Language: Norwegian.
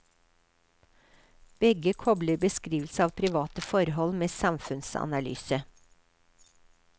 Begge kopler beskrivelse av private forhold med samfunnsanalyse.